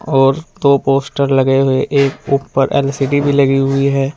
और दो पोस्टर लगे हुए एक ऊपर एल_सी_डी भी लगी हुई है।